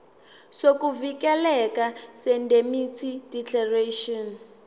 sokuvikeleka seindemnity declaration